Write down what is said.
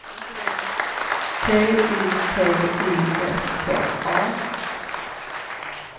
T Y P I S K A